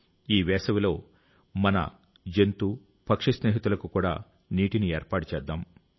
ఈ వేసవిలో మన జంతు పక్షి స్నేహితులకు కూడా నీటిని ఏర్పాటు చేస్తాం